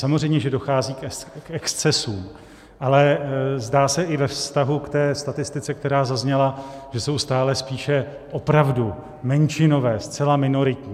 Samozřejmě že dochází k excesům, ale zdá se i ve vztahu k té statistice, která zazněla, že jsou stále spíše opravdu menšinové, zcela minoritní.